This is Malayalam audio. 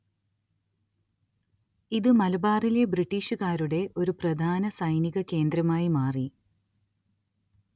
ഇത് മലബാറിലെ ബ്രിട്ടീഷുകാരുടെ ഒരു പ്രധാന സൈനിക കേന്ദ്രമായി മാറി